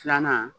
Filanan